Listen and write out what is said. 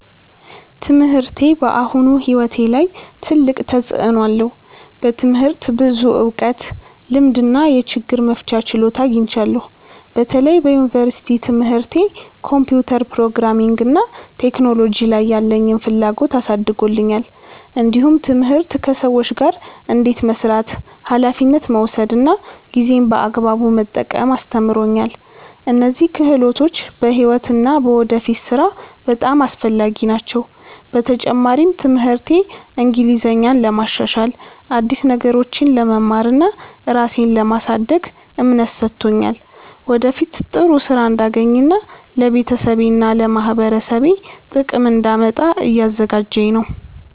ትምህርቴ በአሁኑ ሕይወቴ ላይ ትልቅ ተፅዕኖ አለው። በትምህርት ብዙ እውቀት፣ ልምድ እና የችግር መፍቻ ችሎታ አግኝቻለሁ። በተለይ በዩኒቨርሲቲ ትምህርቴ ኮምፒውተር፣ ፕሮግራሚንግ እና ቴክኖሎጂ ላይ ያለኝን ፍላጎት አሳድጎልኛል። እንዲሁም ትምህርት ከሰዎች ጋር እንዴት መስራት፣ ኃላፊነት መውሰድ እና ጊዜን በአግባቡ መጠቀም አስተምሮኛል። እነዚህ ክህሎቶች በሕይወት እና በወደፊት ሥራ በጣም አስፈላጊ ናቸው። በተጨማሪም ትምህርቴ እንግሊዝኛን ለማሻሻል፣ አዲስ ነገሮችን ለመማር እና ራሴን ለማሳደግ እምነት ሰጥቶኛል። ወደፊት ጥሩ ሥራ እንዳገኝ እና ለቤተሰቤና ለማህበረሰቤ ጥቅም እንዳመጣ እያዘጋጀኝ ነው።